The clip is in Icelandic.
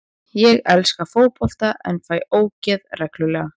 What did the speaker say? Ég elska fótbolta en fæ ógeð reglulega.